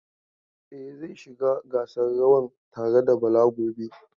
E, zai shiga gasan rawan tare da Bala gobe.